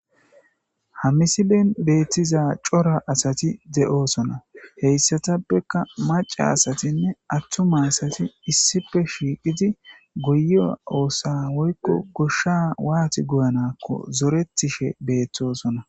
Ha missilen bettiza cora asati de'oosona heyisatappeka macca asatinne attuma asati issippe shiqqidi goyiyo oosa woyikko goshsha watti goyanakko zorettishe bettosona.